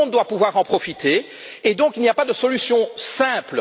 Tout le monde doit pouvoir en profiter, c'est pourquoi il n'y a pas de solution simple.